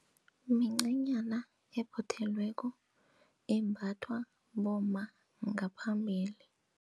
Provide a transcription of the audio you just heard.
Mincanyana ephothelweko embathwa bomma ngaphambili.